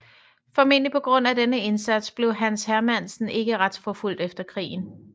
Formentlig på grund af denne indsats blev Hans Hermannsen ikke retsforfulgt efter krigen